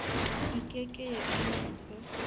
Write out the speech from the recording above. e ke ke ya ipitsa